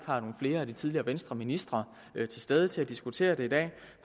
har nogle flere af de tidligere venstreministre til stede til at diskutere det i dag